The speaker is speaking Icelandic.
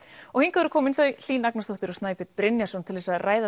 og hingað eru komin þau Hlín Agnarsdóttir og Snæbjörn Brynjarsson til að ræða